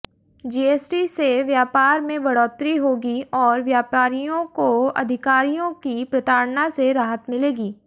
GST से व्यापार में बढोतरी होगी और व्यापारियों को अधिकारियों की प्रताड़ना से राहत मिलेगी